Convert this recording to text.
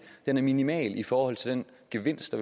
er minimal i forhold til den gevinst